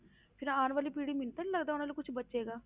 ਫਿਰ ਆਉਣ ਵਾਲੀ ਪੀੜ੍ਹੀ, ਮੈਨੂੰ ਤਾਂ ਨੀ ਲੱਗਦਾ ਉਹਨਾਂ ਨੂੰ ਕੁਛ ਬਚੇਗਾ।